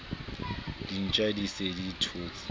dintja di se di thotse